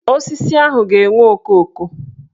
Osisi ahụ ga-enwe okooko